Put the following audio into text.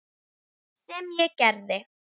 Sem ég gerði.